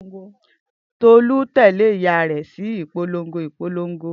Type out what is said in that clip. Tolu tẹle iya rẹ si ipolongo ipolongo.